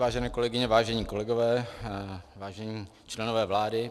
Vážené kolegyně, vážení kolegové, vážení členové vlády.